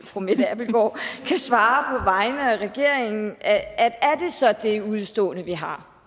fru mette abildgaard kan svare vegne af regeringen er det så det udestående vi har